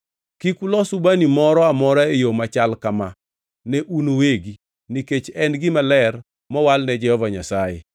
Kik ulos ubani moro amora e yo machal kama ne un uwegi, nikech en gima ler mowalne Jehova Nyasaye.